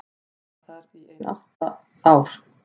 Ég var þar í ein átta ár.